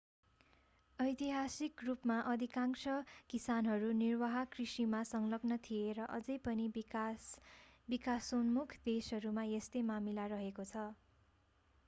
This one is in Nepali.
ऐतिहासिक रूपमा अधिकांश किसानहरू निर्वाह कृषिमा संलग्न थिए र अझै पनि विकासोन्मुख देशहरूमा यस्तै मामिला रहेको छ